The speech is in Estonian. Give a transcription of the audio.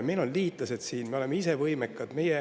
Meil on siin liitlased, me oleme ise võimekad.